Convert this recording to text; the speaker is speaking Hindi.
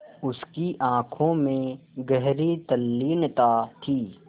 उसकी आँखों में गहरी तल्लीनता थी